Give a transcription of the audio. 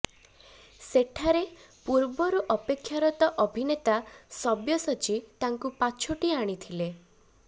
ସେଠାରେ ପୂର୍ବରୁ ଅପେକ୍ଷାରତ ଅଭିନେତା ସବ୍ୟସାଚୀ ତାଙ୍କୁ ପାଛୋଟି ଆଣିଥିଲେ